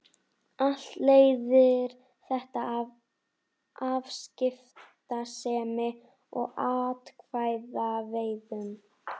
Allt leiðir þetta af afskiptasemi og atkvæðaveiðum.